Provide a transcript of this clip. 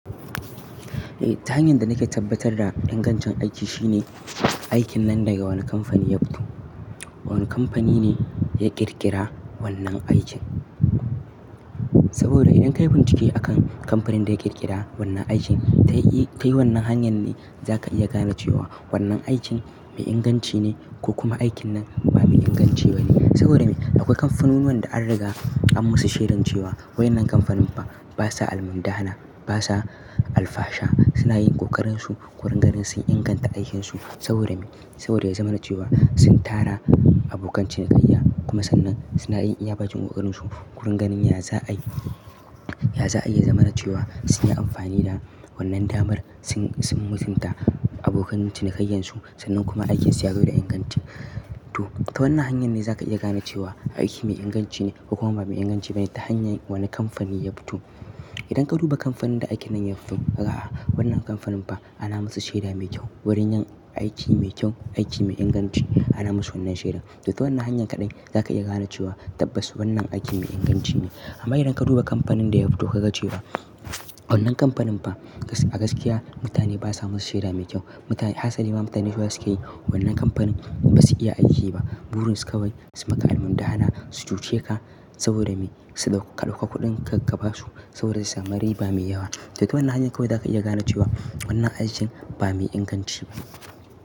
Eh ta hanyar da nake tabbatar da ingancin aiki shine aikin nan daga wane kamfani ya fito. Wane kamfani ne ya ƙirƙira wannan aikin. Saboda idan ka yi bincike akan kamfanin da ya ƙirƙira wannan aikin, ta yi wannan hanyar ne za ka iya gane cewa wannan aikin mai inganci ne ko kuma aikin nan ba mai inganci ba ne. Saboda me akwai kamfanunuwan da an riga an masu shaidan cewa wannan kamfanin ba sa almundahana, ba sa alfasha, suna yin ƙoƙarin su, wurin ganin sun inganta aikin su. Saboda me? Saboda ya zama na cewa sun tara abokan cinikayya. Ku sannan suna iya ba jin ƙoƙarin su wurin ganin ya za'ayi, ya za'ayi ya zama na cewa sun yi amfani da wannan damar sun, sun mutunta abokan cinikayyan su sannan kuma aikinsu ya zo da inganci. To ta wannan hanyar ne za ka iya gane cewa aiki mai inganci ne ko kuma ba mai inganci ba ne ta hanyar wane kamfani ya fito. Idan ka duba kamfanin da aikin nan ya fito ka ga wannan kamfanin ba ana masu shaida mai kyau wurin yin aiki mai kyau, aiki mai inganci ana masu wannan shaida. To ta wannan hanyar kaɗai za ka iya gane cewa tabbas wannan aikin mai inganci ne. Amma idan ka duba kamfanin da ya fito ka ga cewa wannan kamfanin ba a gaskiya mutane ba sa masu shaida mai kyau. Mutane, hasali ma mutane cewa suke yi wannan kamfanin ba su iya aiki ba. Burin su kawai su maka almundahana, su cuce ka saboda me ka ɗauka kuɗin ka, ka ba su saboda zai sa mari ba mai yawa. To ta wannan hanyar kawai za ka iya gane cewa wannan aikin ba mai inganci ba.